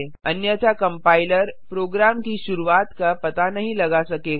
अन्यथा compiler program की शुरूआत का पता नहीं लगा सकेगा